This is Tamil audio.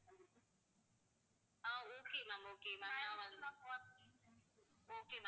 okay ma'am